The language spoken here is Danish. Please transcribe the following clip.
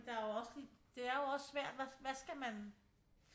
Men der jo også lige det er jo også svært hvad skal man